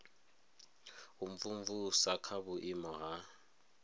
u imvumvusa kha vhuimo ha